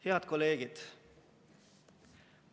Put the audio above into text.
Head kolleegid!